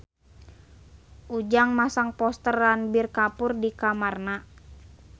Ujang masang poster Ranbir Kapoor di kamarna